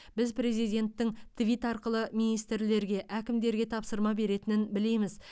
біз президенттің твит арқылы министрлерге әкімдерге тапсырма беретінін білеміз